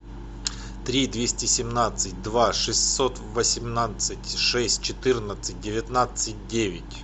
три двести семнадцать два шестьсот восемнадцать шесть четырнадцать девятнадцать девять